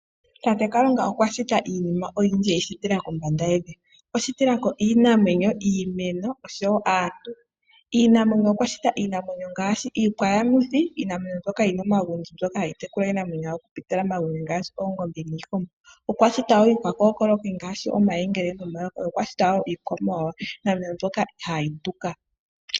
Tate Kalunga okwa shita iinima oyindji eyi shitila kombanda yevi. Okwa shita iimeno, iinamwenyo osho woo aantu . Iinamwenyo okwa shita iinamwenyo ngaashi iikwa yamuthi . Iinamwenyo mbyoka yina omagundji ngaashi oongombe niikombo . Okwa shita woo iikookayi ngaashi omayengele nomayoka. Okwa shita woo iikwamawawa. Iinamwenyo mbyoka hayi hayi tuka.